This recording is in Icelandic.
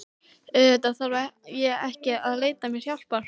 Auðvitað þarf ég ekki að leita mér hjálpar.